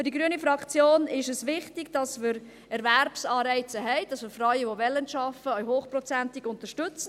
Für die Fraktion Grüne ist es wichtig, dass wir Erwerbsanreize haben, dass wir Frauen, die arbeiten wollen, auch hochprozentig, unterstützen.